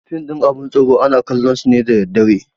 Fim ɗin abin tsoro ana kallon su ne da daddare